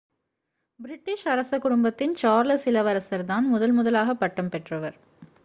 British அரச குடும்பத்தின் Charles இளவரசர் தான் முதன் முதலாக பட்டம் பெற்றவர்